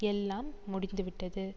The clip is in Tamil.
எல்லாம் முடிந்து விட்டது